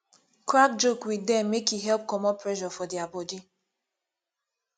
crack joke wit dem mek e help comot pressure for dia body